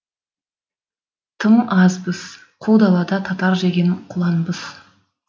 тым азбыз қу далада татыр жеген құланбыз